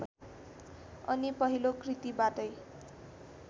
अनि पहिलो कृतिबाटै